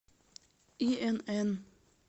инн